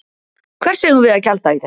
Hvers eigum við að gjalda í þessu?